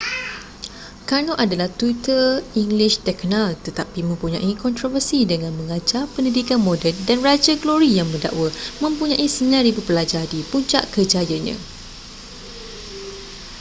karno adalah tutor english terkenal tetapi mempunyai kontroversi dengan mengajar pendidikan moden dan raja glory yang mendakwa mempunyai 9,000 pelajar di puncak kerjayanya